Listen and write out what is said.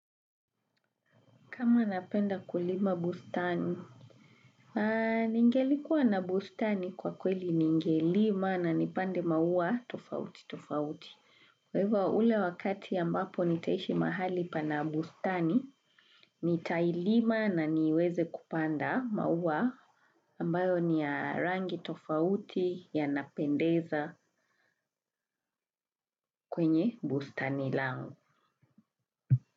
Kama napenda kulima bustani? Ningelikuwa na bustani kwa kweli ningelima na nipande maua tofauti tofauti. Kwa hivyo ule wakati ambapo nitaishi mahali pana bustani, nitailima na niweze kupanda maua ambayo ni ya rangi tofauti y napendeza kwenye bustani langu.